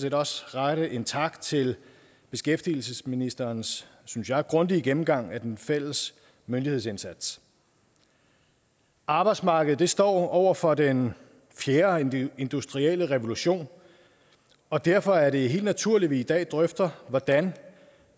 set også rette en tak til beskæftigelsesministerens synes jeg grundige gennemgang af den fælles myndighedsindsats arbejdsmarkedet står over for den fjerde industrielle revolution og derfor er det helt naturligt at vi i dag drøfter hvordan